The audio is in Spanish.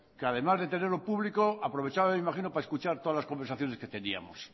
que además de tenerlo público aprovechaba me imagino para escuchar todas las conversaciones que teníamos